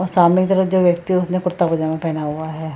और सामने की तरफ जो व्यक्ति है उसने कुर्ता पाजामा पेहना हुआ है।